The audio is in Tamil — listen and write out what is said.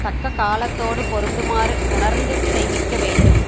தக்க காலத்தோடு பொறுந்துமாறு உணர்ந்து செய்விக்க வேண்டும்